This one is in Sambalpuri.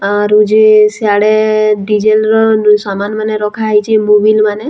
ଆରୁ ଯେ ସେଆଡେ ଡିଜେଲ୍‌ ର ସାମାନ୍‌ ମାନେ ରଖାହେଇଛେ ମୋବିଲ୍‌ ମାନେ।